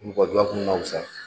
Mɔgɔdɔ kun man fusa.